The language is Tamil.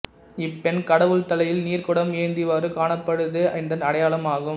இப்பெண் கடவுள் தலையில் நீர்க்குடம் ஏந்திவாறு காணப்படுதே இதன் அடையாளம் ஆகும்